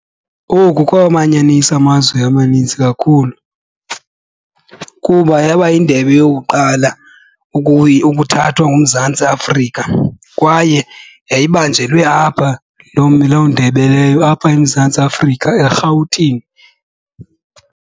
Oku kwawamanyanisa amazwi amaninzi kakhulu kuba yaba yindebe yokuqala ukuthathwa nguMzantsi Afrika kwaye yayibanjelwe apha loo loo ndebe leyo apha eMzantsi Afrika eRhawutini.